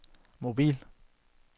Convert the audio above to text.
mobil